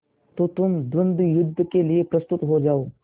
तो तुम द्वंद्वयुद्ध के लिए प्रस्तुत हो जाओ